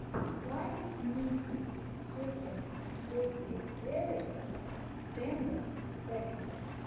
вайн ники сетин сети севен стэндофф сэконд